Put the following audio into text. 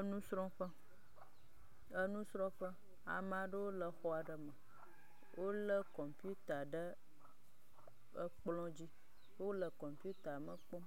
Enusrɔ̃ƒe. Enusrɔ̃ƒe ame aɖewo le xɔ aɖe me wole kɔmpita ɖe ekplɔ dzi. Wole kɔmpita me kpɔm.